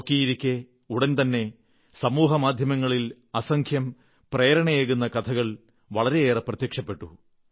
നോക്കിയിരിക്കെ ഉടൻതന്നെ സമൂഹമാധ്യമങ്ങളിൽ അസംഖ്യം പ്രേരണയേകുന്ന കഥകൾ വളരെയേറെ പ്രത്യക്ഷപ്പെട്ടു